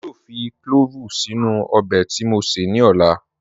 Èmi yóò fì clọ̀ọ̀vù sínu ọbẹ̀ tí mó sé ní ọ̀là.